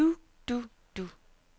du du du